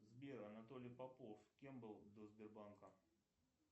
сбер анатолий попов кем был до сбербанка